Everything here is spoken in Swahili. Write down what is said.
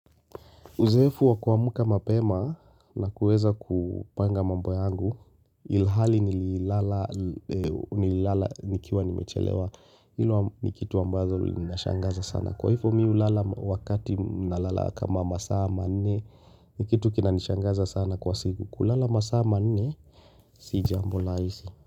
Uzoefu wa kuamka mapema na kuweza kupanga mambo yangu, ilhali nililala nikiwa nimechelewa, ilo ni kitu ambazo linashangaza sana. Kwa hifo mi hulala wakati nalala kama masaa manne ni kitu kinanishangaza sana kwa siku. Kulala masaa manne, si jambo laisi.